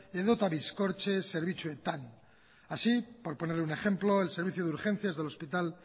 edota bizkortze zerbitzuetan así por ponerle un ejemplo el servicio de urgencias del hospital